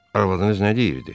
Arvadınız nə deyirdi?